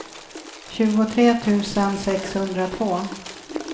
tjugotre tusen sexhundratvå